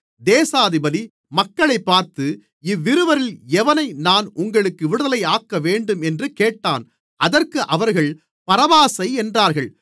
தேசாதிபதி மக்களைப் பார்த்து இவ்விருவரில் எவனை நான் உங்களுக்கு விடுதலையாக்கவேண்டும் என்று கேட்டான் அதற்கு அவர்கள் பரபாசை என்றார்கள்